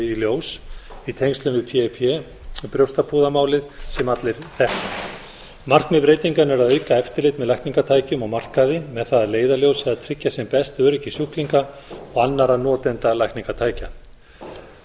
í ljós í tengslum við pip brjóstapúðamálið sem allir þekkja markmið breytinganna er að auka eftirlit með lækningatækjum á markaði með það að leiðarljósi að tryggja sem best öryggi sjúklinga og annarra notenda lækningatækja lög